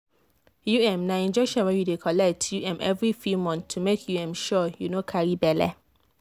u m na injection wey you dey collect u m every few months to make u m sure you no carry belle.